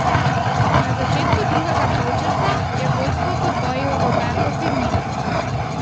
Na začetku drugega polčasa je vodstvo podvojil Roberto Firmino.